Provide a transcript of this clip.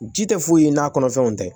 Ji tɛ foyi ye n'a kɔnɔfɛnw tɛ